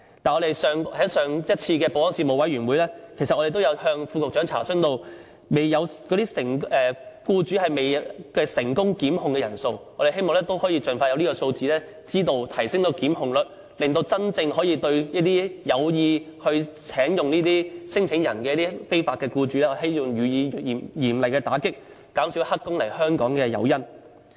但是，在上一次保安事務委員會，我們曾向副局長查詢僱主聘用聲請人未成功檢控的人數資料，我們希望盡快提供這方面的數字，提升檢控率，對這些有意聘用聲請人的僱主予以嚴厲打擊，減少黑工來香港的誘因。